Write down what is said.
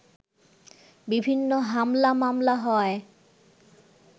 বিভিন্ন হামলা মামলা হওয়ায়